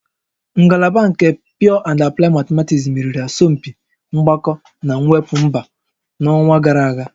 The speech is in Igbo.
Ngalaba nke Pure and Applied Mathematics meriri asọmpi mgbakọ na mwepụ mba n'ọnwa gara aga